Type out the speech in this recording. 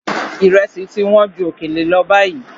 Ìrẹsì ti wọ́n ju òkèlè lọ báyìí.